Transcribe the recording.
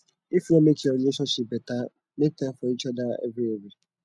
if yu wan mek your relationship beta mek time for each oda evri evri